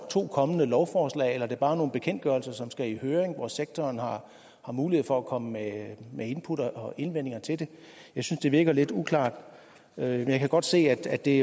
to kommende lovforslag eller om det bare er nogle bekendtgørelser som skal i høring hvor sektoren har mulighed for at komme med med input og indvendinger til det jeg synes det virker lidt uklart jeg kan godt se at det